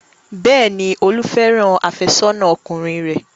Bẹ́ẹ̀ni, Olú fẹ́ràn àfẹ́sọ́nà ọkùnrin rẹ̀.